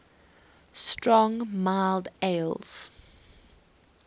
strong mild ales